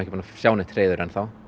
búin að sjá neitt hreiður enn þá